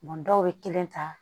dɔw bɛ kelen ta